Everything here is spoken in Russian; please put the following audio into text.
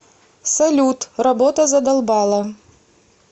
салют работа задолбала